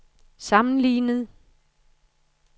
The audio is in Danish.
sammenlignet